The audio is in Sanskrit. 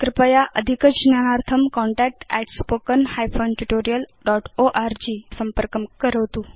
कृपया अधिकज्ञानार्थं contact at spoken hyphen tutorial dot org संपर्कं करोतु